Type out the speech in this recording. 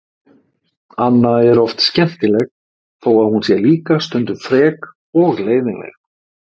Anna er oft skemmtileg þó að hún sé líka stundum frek og leiðinleg.